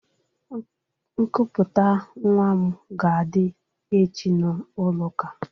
Nkuputa nwa m ga adi echi n'ụlọ ụka